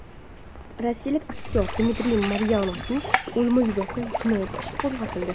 Rossiyalik aktyor Dmitriy Maryanovning o‘limi yuzasidan jinoyat ishi qo‘zg‘atildi.